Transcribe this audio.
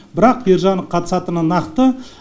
бірақ ержан қатысатыны нақты